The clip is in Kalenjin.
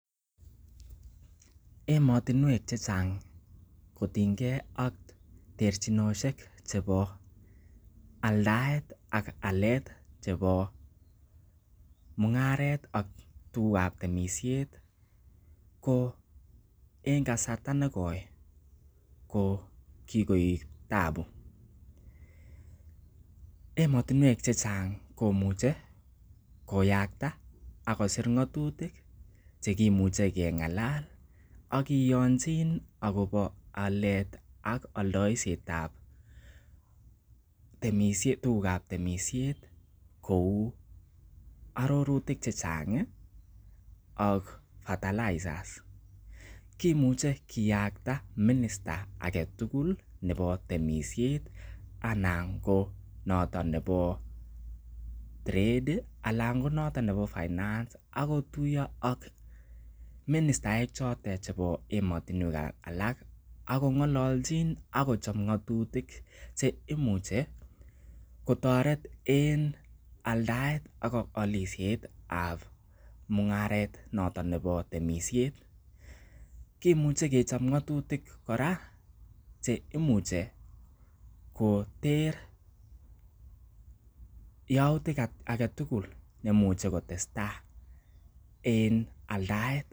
Emotinwek chechang kotienge ak terchinosiek chebo aldaet ak alet chebo mung'aret ak tuguk ab temisiet ko en kasarta nekoi ko kigoik taabu emotinwek che chang ko imuche koyakta ak kosir ng'atutik che kimuche keng'alal ak kiyonjin agobo alet ak oldoisiet ab tuguk ab temisiet kou arorutik che chang ak fertilizers kimuche kiyakta minister age tugul nebo temisiet anan ko noton nebo trade anan ko noton nebo finance agotuiyo ak ministaek choton chebo emotinwek ab sang ak kong'ololchin ak kochon ng'atutik che imuche kotoret en aldaet ak olisiet ab mung'aret noton nebo temisiet kimuche kechob ng'atutik kora che imuche koter yautik age tugul neimuche kotestaii en aldaet